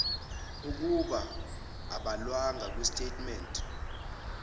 okung abhalwanga kwisitatimende